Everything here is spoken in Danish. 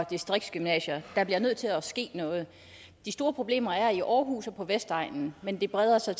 distriktsgymnasier der bliver nødt til at ske noget de store problemer er i aarhus og på vestegnen men det breder sig